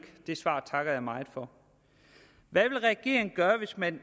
det svar takker jeg meget for hvad vil regeringen gøre hvis man